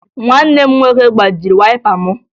Nwanne m nwoke gbajiri wayịpa m